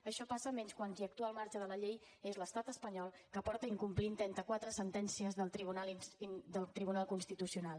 això passa menys quan qui actua al marge de la llei és l’estat espanyol que porta incomplint trenta quatre sentències del tribunal constitucional